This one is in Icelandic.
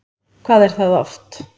Hvað er það oft?